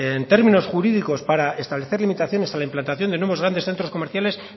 en términos jurídicos para establecer limitaciones a la implantación de nuevos grandes centros comerciales